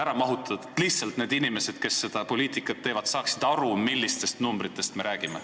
Seda lihtsalt selleks, et need inimesed, kes poliitikat teevad, saaksid aru, millistest numbritest me räägime.